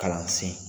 Kalansen